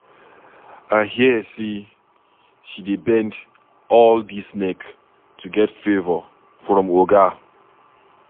I hear say she dey bend all dis neck to get favour from Oga.